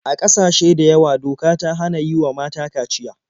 A ƙasashe da yawa doka ta hana yi wa mata kaciya.